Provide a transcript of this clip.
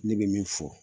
Ne bɛ min fɔ